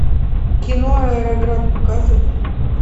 кино аэроград показывай